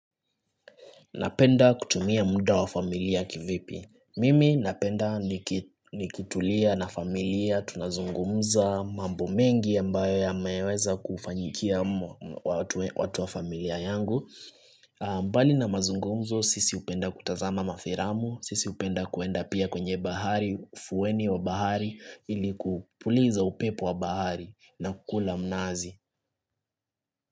Napenda kutumia muda wa familia kivipi. Mimi napenda nikitulia na familia tunazungumza mambo mengi ambayo yameweza kufanyikia watu wa familia yangu. Mbali na mazungumzo sisi hupenda kutazama mafiramu, sisi hupenda kuenda pia kwenye bahari, ufuweni wa bahari ili kupuliza upepo wa bahari na kukula mnazi.